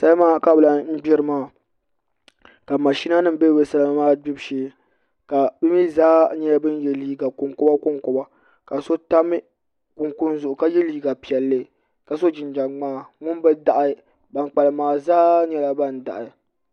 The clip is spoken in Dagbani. salima ka bi lahi gbiri maa ka mashina nim bɛ bi salima maa gbibu shee bi mii zaa nyɛla bin yɛ liiga konkoba konkoba ka so tam kunkun zuɣu ka yɛ liiga piɛlli ka so jinjɛm ŋmaa ŋun bi daɣi ban kpalim maa zaa nyɛla ban daɣi